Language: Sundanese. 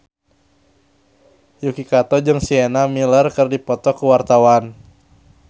Yuki Kato jeung Sienna Miller keur dipoto ku wartawan